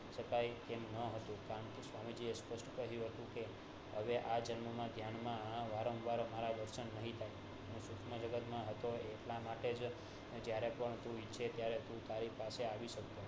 એમ ન હતું સ્વામીજી એ સ્પષ્ટ કર્યું તું કે અવે આ જન્મ માં ધ્યાન મારા વારં વાર વાંચન નહિ શુંસમ જગતમાં હતો એટલા માટે અને જયારે પણ તું ઇચ્છે ત્યારે હું તારી પાસે આવી શકું